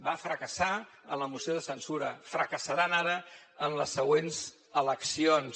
va fracassar en la moció de censura fracassaran ara en les següents eleccions